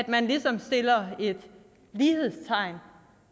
man ligesom sætter et lighedstegn